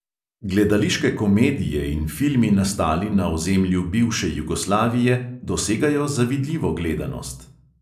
Gledališke komedije in filmi, nastali na ozemlju bivše jugoslavije, dosegajo zavidljivo gledanost.